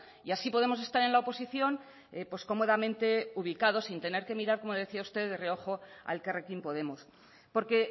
y así podemos estar en la oposición cómodamente ubicados sin tener que mirar como decía usted de reojo a elkarrekin podemos porque